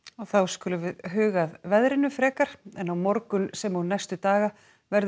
þá skulum við huga að veðrinu en á morgun sem og næstu daga verður